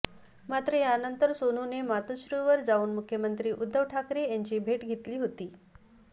मात्र यानंतर सोनूने मातोश्रीवर जाऊन मुख्यमंत्री उद्धव ठाकरे यांची भेट घेतली होती